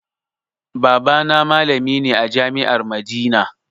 Baba na malami ne a jami'ar madina